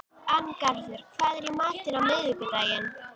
Arngarður, hvað er í matinn á miðvikudaginn?